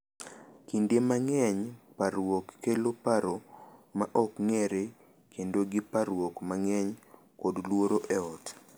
Kinde mang’eny, parruok kelo paro ma ok ng’ere, bedo gi parruok mang’eny, kod luoro e ot.